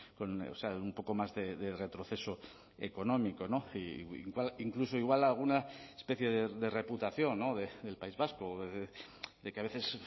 con un poco más de retroceso económico incluso igual alguna especie de reputación del país vasco de que a veces